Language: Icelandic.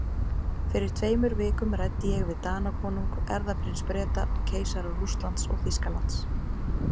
Fyrir tveimur vikum ræddi ég við Danakonung, erfðaprins Breta og keisara Rússlands og Þýskalands.